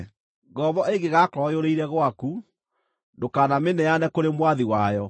Ngombo ĩngĩgakorwo yũrĩire gwaku, ndũkanamĩneane kũrĩ mwathi wayo.